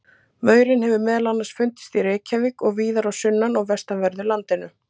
Maurinn hefur meðal annars fundist í Reykjavík og víðar á sunnan- og vestanverðu landinu.